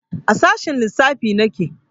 A sashen lissafi nake